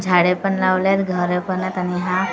झाडे पण लावलेत घरं पण आहेत आणि हा झाड --